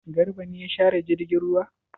Garba ne ya share jirgin ruwa?